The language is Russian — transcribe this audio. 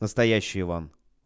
настоящий иван